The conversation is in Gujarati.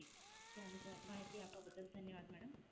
જી જાણકાર, માહિતી આપવાં બદલ ધન્યવાદ madam.